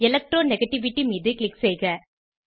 electro negativity மீது click செய்க